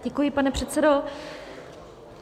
Děkuji, pane předsedo.